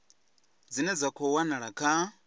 dzine dza khou wanala kha